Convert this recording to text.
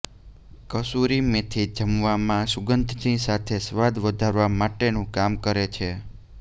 કસૂરી મેથી જમવામાં સુગંધની સાથે સ્વાદ વધારવા માટેનુ કામ કરે છે